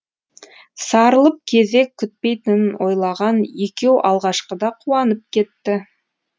сарылып кезек күтпейтінін ойлаған екеу алғашқыда қуанып кетті